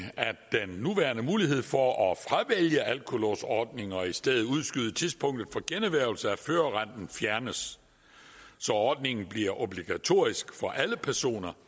at den nuværende mulighed for at fravælge alkolåsordningen og i stedet udskyde tidspunktet for generhvervelse af førerretten fjernes så ordningen bliver obligatorisk for alle personer